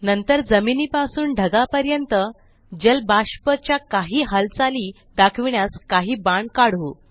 नंतर जमिनीपासून ढगापर्यंत जलबाष्प च्या काही हालचाली दाखविण्यास काही बाण काढू